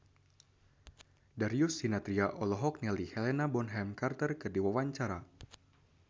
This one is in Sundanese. Darius Sinathrya olohok ningali Helena Bonham Carter keur diwawancara